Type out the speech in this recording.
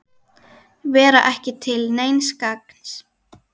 Vera ekki til neins gagns.